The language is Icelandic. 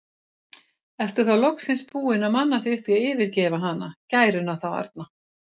Ertu þá loksins búinn að manna þig upp í að yfirgefa hana, gæruna þá arna?